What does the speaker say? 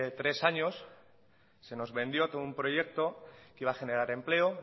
tres años se nos vendió que un proyecto que iba a generar empleo